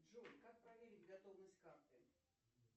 джой как проверить готовность карты